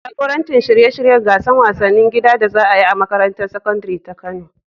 Jagoranci shirye-shiryen gasar wasannin gida da za a yi a makarantar sakandare ta Kano.